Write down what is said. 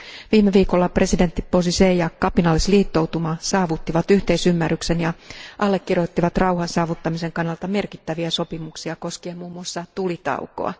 Viime viikolla presidentti Bozizé ja kapinallisliittoutuma saavuttivat yhteisymmärryksen ja allekirjoittivat rauhan saavuttamisen kannalta merkittäviä sopimuksia koskien muun muassa tulitaukoa.